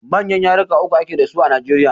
Manyan yaruka uku a ke dasu a Najeriya.